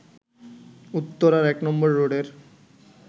উত্তরার ১ নম্বর রোডের